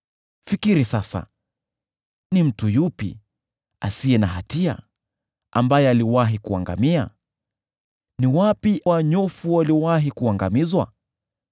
“Fikiri sasa: Ni mtu yupi asiye na hatia ambaye aliwahi kuangamia? Ni wapi wanyofu waliwahi kuangamizwa?